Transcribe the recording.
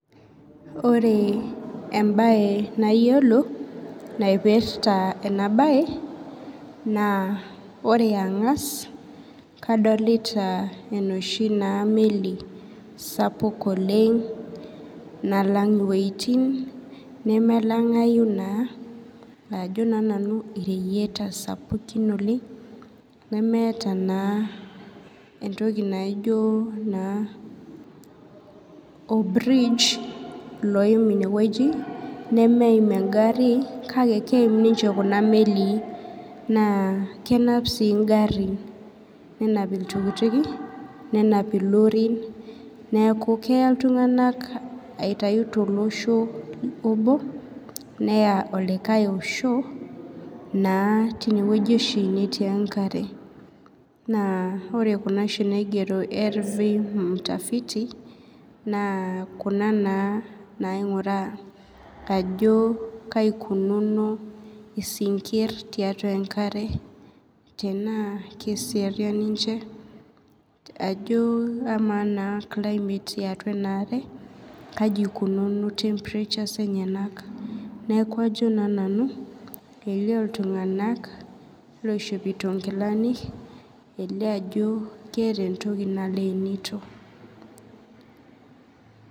Ore embae nayilo naipirta ena bae na ore angas kadolta enoshi meli sapuk nalang wueutin nemelangau na ajo na nanu reyieta sapukin nemelangai nemeeta na entoki naijo or bridge oim ineweuji nemeim engari kake keimbninche kuna melii nakenap si ngarin nenap irorin neaku keya ltunganak aitayu tolosho obo neya likae osho tinewueji oshi etii enkare na ore kuna oshi kuna niagero lv mtafiti na kuna na naingiraa ajo kaikunono sinkir tiatua enkare tanaa keseriani duo ama kaji ikununo temperatures enyenak najo na nanu elio ltunganak oishopoto nkilani elio ajo keeta entoki naleenito .